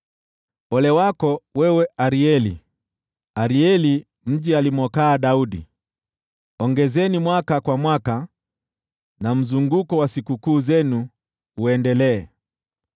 Ole wako, wewe Arieli, Arieli, mji alimokaa Daudi! Ongezeni mwaka kwa mwaka, na mzunguko wa sikukuu zenu uendelee.